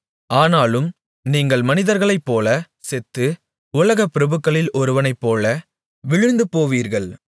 ஆனாலும் நீங்கள் மனிதர்களைப்போலச் செத்து உலகப்பிரபுக்களில் ஒருவனைப்போல விழுந்து போவீர்கள்